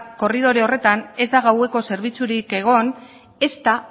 korridore horretan ez da gaueko zerbitzurik egon ezta